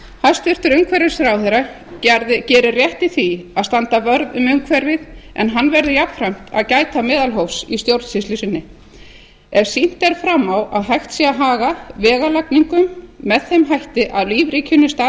hæstvirtur umhverfisráðherra gerir rétt í því að standa vörð um umhverfið en hann verður jafnframt að gæta meðalhófs í stjórnsýslu sinni ef sýnt er fram á að hægt sé að haga veglagningu með þeim hætti að lífríkinu stafi